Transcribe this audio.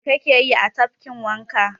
Mai ka ke yi a tafkin wanka?